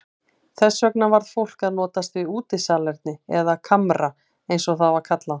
Þess vegna varð fólk að notast við útisalerni eða kamra eins og það var kallað.